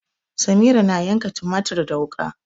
Samira na yanka tumatir da wuka.